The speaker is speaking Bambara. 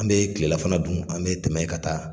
An bɛ kilelafana dun an bɛ tɛmɛ ka taa.